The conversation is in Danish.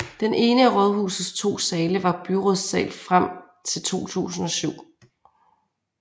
Den ene af rådhusets to sale var byrådssal frem til 2007